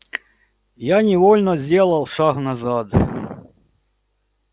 я невольно сделал шаг назад